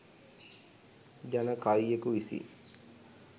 ජන කවියකු විසින්